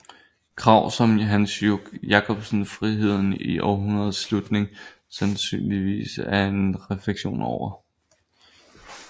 Krav som Hansen Jacobsens Friheden i århundredets slutning sandsynligvis er en refleksion over